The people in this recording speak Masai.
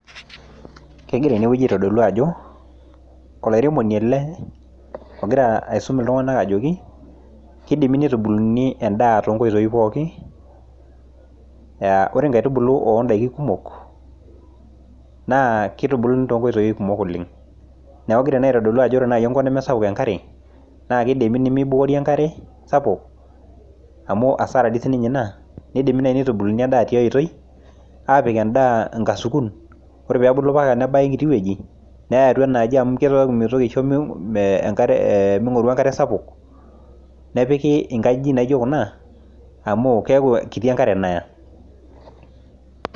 kegira ena pisha aitodolu ajo olairemoni ele ogira aisum iltung'anak ajoki, kidimi nitubuluni edaa toonkoitii pooki, aa ore inkaitubulu oo inkoitoi kumok naa kitubuluni too nkoitii kumok oleng' neeku kegira ena aitolu ajo ore naaji enkop nimisapuk enkare naa kidimi nimibukori enkare sapuk amu asara dii sininye ina, nidimi naaji nitubuluni edaa tiai etoi apik edaa inkasukun ore pee ebulu nebaya enkiti weji, neyai atua enaji amu mitoki aisho ming'oru enkare sapuk, nepiki atua inkajijik naijio kuna amu keeku kiti enkare naya.